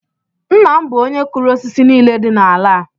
Nna m bụ onye kụrụ osisi nile dị n’ala a